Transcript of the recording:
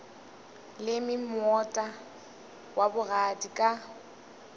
leme moota wa bogadi ka